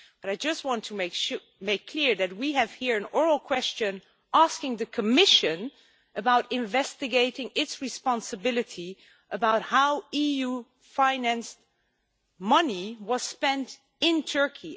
But I just want to make clear that we have here an oral question asking the Commission about investigating its responsibility about how EU financed money was spent in Turkey.